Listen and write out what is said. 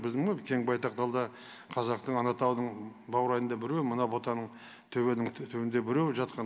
білдің ба кең байтақ далада қазақтың алатаудың баурайында біреу мына бұтаның түбінің төртеуінде біреу жатқан